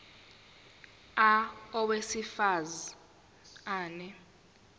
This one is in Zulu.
a owesifaz ane